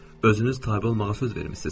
Özünüz tabe olmağa söz vermisiz.